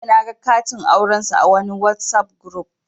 Jiya naga katin aurensu a wani Whatsapp guruf